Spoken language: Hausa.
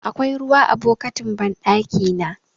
Akwai ruwa a bokitin banɗakina.